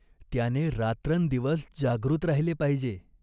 त्याने रात्रंदिवस जागृत राहिले पाहिजे.